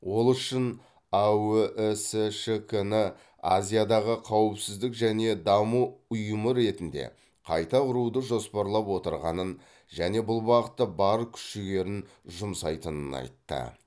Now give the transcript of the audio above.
ол үшін аөісшк ні азиядағы қауіпсіздік және даму ұйымы ретінде қайта құруды жоспарлап отырғанын және бұл бағытта бар күш жігерін жұмсайтынын айтты